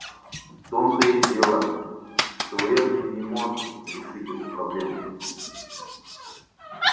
в том-то и дело что эрби не может решить эту проблему